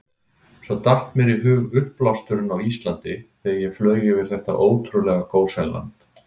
Svo datt mér í hug uppblásturinn á Íslandi, þegar ég flaug yfir þetta ótrúlega gósenland.